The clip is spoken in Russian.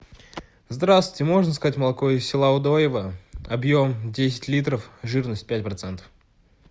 здравствуйте можно заказать молоко из села удоево объем десять литров жирность пять процентов